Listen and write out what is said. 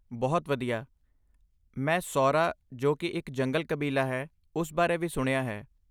ਬਹੁਤ ਵਧੀਆ! ਮੈਂ 'ਸੌਰਾ' ਜੋ ਕਿ ਇੱਕ ਜੰਗਲ ਕਬੀਲਾ ਹੈ ਉਸ ਬਾਰੇ ਵੀ ਸੁਣਿਆ ਹੈ।